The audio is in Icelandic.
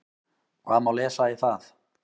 Hvað má lesa í það?